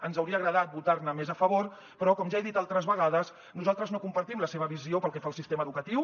ens hauria agradat votar ne més a favor però com ja he dit altres vegades nosaltres no compartim la seva visió pel que fa al sistema educatiu